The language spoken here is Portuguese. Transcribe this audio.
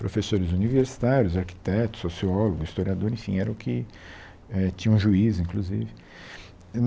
professores universitários, arquitetos, sociólogos, historiador, enfim, era o que eh tinha um juíz, inclusive.